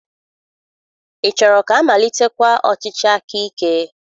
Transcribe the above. Ị chọrọ ka amalitekwa ọchịchị akaike?